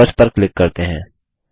members पर click करते हैं